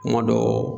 Kuma dɔw